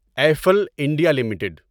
Eiffel India limited